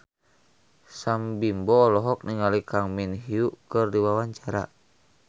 Sam Bimbo olohok ningali Kang Min Hyuk keur diwawancara